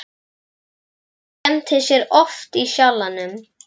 Hún skemmtir sér oft í Sjallanum um helgar.